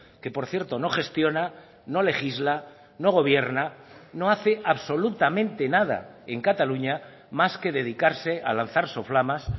que por cierto no gestiona no legisla no gobierna no hace absolutamente nada en cataluña más que dedicarse a lanzar soflamas